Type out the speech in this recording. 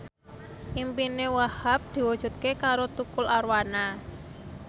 impine Wahhab diwujudke karo Tukul Arwana